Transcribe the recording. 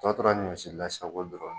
A tɔ tora ɲɔ serilan ye sisan ko